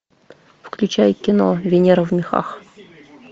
включай кино венера в мехах